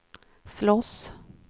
slåss